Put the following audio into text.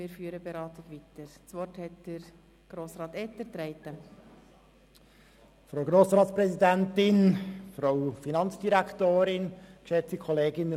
Diese haben ihre «Schäfchen» wieder eingesammelt, sodass wir die Beratungen weiterführen können.